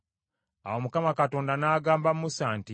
Awo Mukama Katonda n’agamba Musa nti,